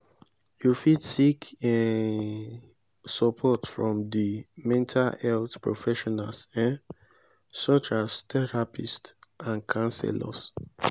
you fit seek um support from di mental health professionals um such as therapists and counselors.